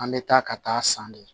An bɛ taa ka taa san de